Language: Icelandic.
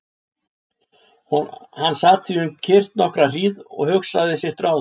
Hann sat því um kyrrt nokkra hríð og hugsaði sitt ráð.